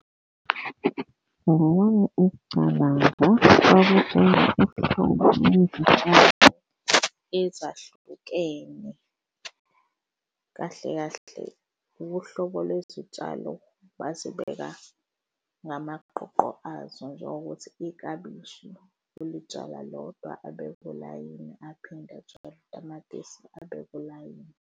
Ngokwami ukucabanga kwakutshalwe uhlobo lezi tshalo ezahlukene kahle kahle, uhlobo lwezitshalo bazibeka ngamaqoqo azo njengokuthi ikabishi ulitshala lodwa abeke ulayini aphinde utshale utamatisi abeke ulayini.